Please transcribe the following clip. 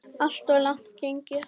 Alltof langt gengið.